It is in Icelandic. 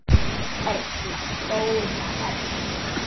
Erla góða Erla.